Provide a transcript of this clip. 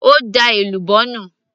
ó da èlùbọ́ nù